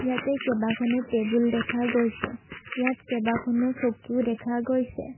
ইয়াতে কেইবাখনো টেবুল দেখা গৈছে ইয়াত কেইবখনো চকীও দেখা গৈছে।